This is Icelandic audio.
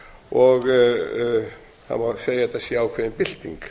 og það má segja að þetta sé ákveðin bylting